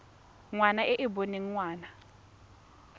ngwana e e boneng ngwana